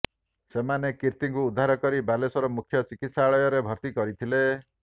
ସେମାନେ କୀର୍ତ୍ତିଙ୍କୁ ଉଦ୍ଧାର କରି ବାଲେଶ୍ୱର ମୁଖ୍ୟ ଚିକିତ୍ସାଳୟରେ ଭର୍ତ୍ତି କରିଥିଲେ